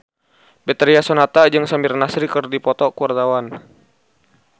Betharia Sonata jeung Samir Nasri keur dipoto ku wartawan